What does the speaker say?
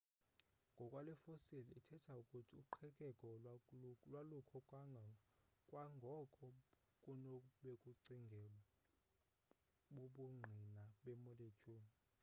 ngokwale fossile ithetha ukuthi uqhekeko lwalukho kwangoko kunobekucingelwa bubungqina bemolecule